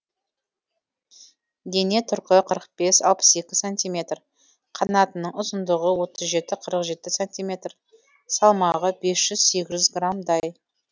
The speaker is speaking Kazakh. дене тұрқы қырық бес алпыс екі сантиметр қанатының ұзындығы отыз жеті қырық жеті сантиметр салмағы бес жүз сегіз жүз граммдай